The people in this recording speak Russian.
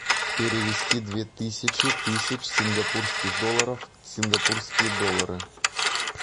перевести две тысячи тысяч сингапурских долларов в сингапурские доллары